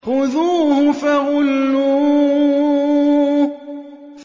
خُذُوهُ فَغُلُّوهُ